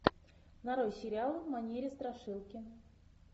нарой сериал в манере страшилки